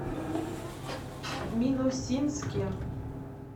минусинске